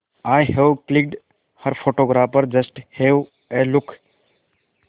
I have clicked her photographer just have a look